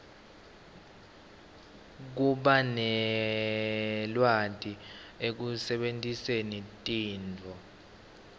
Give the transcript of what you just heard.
kubanelwati ekusebentiseni tinto